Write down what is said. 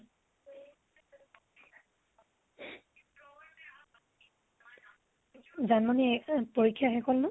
জানমনিৰ এ অ পৰীক্ষা শেষ হল নে?